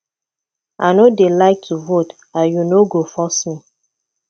i no dey like to vote and you no go force me